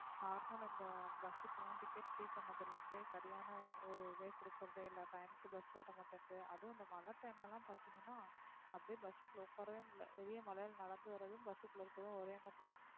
normal லா இந்த bus க்கு எல்லாம் ticket free பண்ணதுல இருந்தே சரியான ஒ~ ஒரு இதே குடுக்கறதே இல்லை. time க்கு bus வர மாட்டேங்குது. அதுவும் இந்த மழை time ல எல்லாம் பாத்தீங்கன்னா அப்படியே bus க்குள்ள உக்காரவே முடியலை. வெளிய மழையில நடந்து வர்றதும், bus க்குள்ள இருக்கறதும் ஒரே மாதிரிதான்.